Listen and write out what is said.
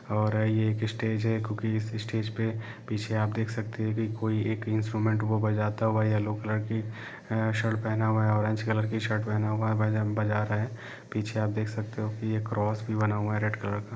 और ये एक स्टेज है क्योंकि इस स्टेज पे पीछे आप देख सकते हैं कि कोई एक इंस्ट्रूमेंट वो बजाता हुआ येलो कलर की शर्ट पहना हुआ है ऑरेंज कलर की शर्ट पहना हुआ है भजन बजा रहे है पीछे आप देख सकते हो की क्रॉस भी बना हुआ है रेड कलर का।